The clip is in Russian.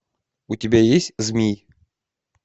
у тебя есть змий